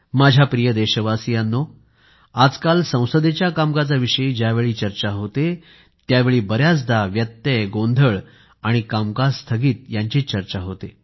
माझ्या प्रिय देशवासियांनो आजकाल संसदेच्या कामकाजाविषयी ज्यावेळी चर्चा होते त्यावेळी बरेचदा व्यत्यय गोंधळ आणि कामकाज स्थगिती यांचीच चर्चा होते